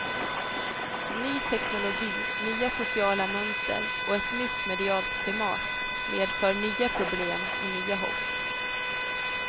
Ny teknologi, nya sociala mönster och ett nytt medialt klimat medför nya problem och nya hopp.